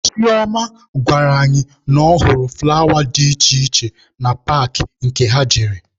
Chioma gwara anyị na ọ hụrụ fụlawa dị iche iche na paakị nke ha jere.